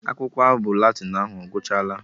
Akwụkwọ abụ Latin ahụ ọgwuchala?